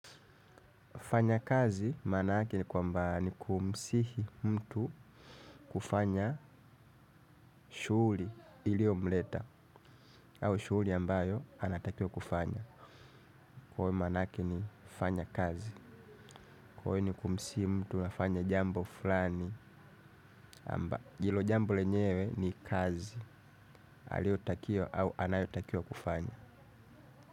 Fanya kazi manake kwamba ni kumsihi mtu kufanya shuli ilio mleta au shuli ambayo anatakiwa kufanya. Kwawe manake ni fanya kazi. Kwawe ni kumsihi mtu nafanya jambo fulani amba jilo jambo lenyewe ni kazi aliotakio au anayotakio kufanya.